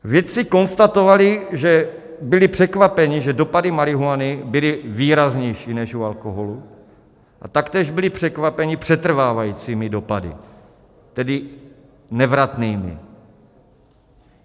Vědci konstatovali, že byli překvapeni, že dopady marihuany byly výraznější než u alkoholu, a taktéž byli překvapeni přetrvávajícími dopady, tedy nevratnými.